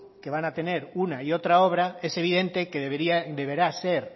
que van a tener una y otra obra es evidente que deberá ser